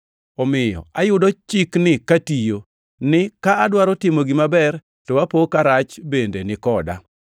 Omiyo ayudo chikni katiyo: Ni ka adwaro timo gima ber, to apo ka rach bende ni koda.